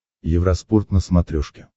евроспорт на смотрешке